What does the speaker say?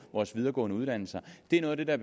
vores videregående uddannelser det er noget af det der